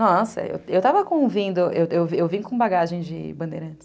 Nossa, eu estava convindo, eu vim com bagagem de bandeirantes.